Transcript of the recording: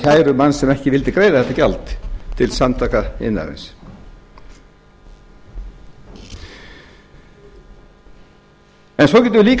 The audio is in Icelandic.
kæru manns sem ekki vildi greiða þetta gjald til samtaka iðnaðarins en svo getum við líka